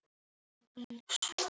Kæri Jói minn!